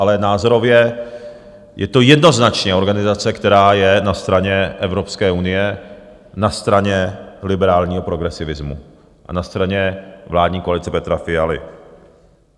Ale názorově je to jednoznačně organizace, která je na straně Evropské unie, na straně liberálního progresivismu a na straně vládní koalice Petra Fialy.